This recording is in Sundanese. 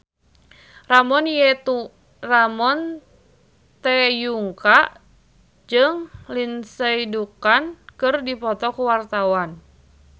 Ramon T. Yungka jeung Lindsay Ducan keur dipoto ku wartawan